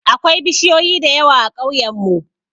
Akwai bishiyoyi da yawa a ƙauyen mu